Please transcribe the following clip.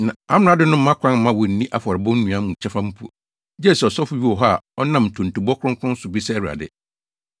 Na amrado no mma kwan mma wonnni afɔrebɔ nnuan mu kyɛfa mpo, gye sɛ ɔsɔfo bi wɔ hɔ a ɔnam ntontobɔ kronkron so bisa Awurade.